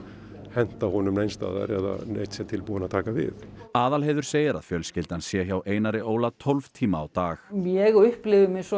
henta honum neins staðar eða að neinn sé tilbúinn til að taka við Aðalheiður segir að fjölskyldan sé hjá Einari Óla tólf tíma á dag ég upplifi mig eins